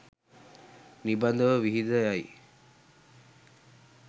නිබඳව විහිද යයි.